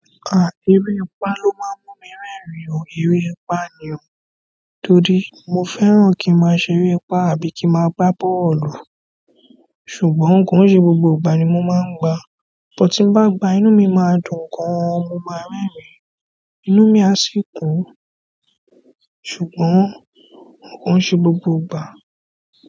À, erépá ló má ń mú mi rẹ́rìn o. Eré pá ni o. Tóri, mo fẹ́ràn kí n má a ṣe eré pá àbí kí n má a gba bọ́ọ̀lù. Ṣùgbọ́n kò ń ṣe gbogbo ìgbà ni mo máa ń gba. But tí n bá gba inú mi máa dùn gan an, mo máa rẹ́rìn-ín. Inú mi a sì kún. Ṣùgbọ́n kò ń ṣe gbogbo ìgbà.